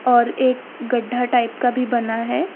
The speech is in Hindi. और एक गड्ढा टाइप का भी बना है।